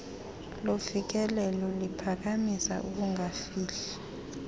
lofikelelo liphakamisa ukungafihli